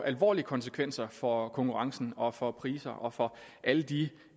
alvorlige konsekvenser for konkurrencen og for priserne og for alle de